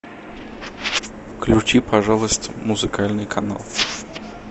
включи пожалуйста музыкальный канал